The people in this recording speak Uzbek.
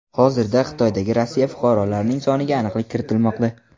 Hozirda Xitoydagi Rossiya fuqarolarning soniga aniqlik kiritilmoqda.